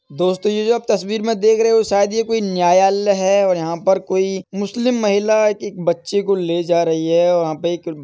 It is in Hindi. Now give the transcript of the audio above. दोस्तों ये जो आप तस्वीर में देख रहे हो शायद ये कोई न्यायालय है और यहाँ पर कोई मुस्लिम महिला एक क् बच्चे को ले जा रही है और यहाँ पे एक --